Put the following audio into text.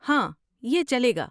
ہاں، یہ چلے گا۔